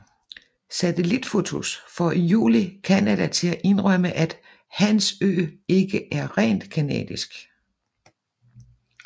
Satellitfotos får i juli Canada til at indrømme at Hans Ø ikke er rent canadisk